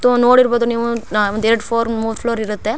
ತೋ ನೋಡಿರಬಹುದು ನೀವು ನಮ್ಮ್ ದೆಟ್ ಫೋರ್ ಮೂರ್ ಫ್ಲೋರ್ ಇರುತ್ತೆ.